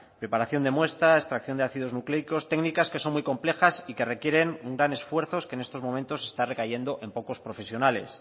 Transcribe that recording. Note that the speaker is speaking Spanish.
preparación de muestra extracción de ácidos nucleicos técnicas que son muy complejas y que requieren un gran esfuerzo que en estos momentos está recayendo en pocos profesionales